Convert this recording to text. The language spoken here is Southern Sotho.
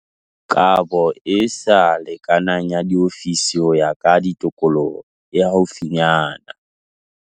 Kabo e sa lekanang ya diofisi ho ya ka tikoloho e haufinyana.